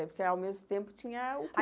Porque, ao mesmo tempo, tinha o